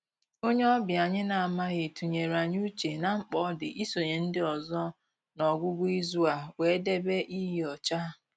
Onye ọbịa anyị na-amaghị tụnyere anyị uche na mkpa ọ dị isonye ndị ọzọ n'ọgwụgwụ izu a wee debe iyi ọcha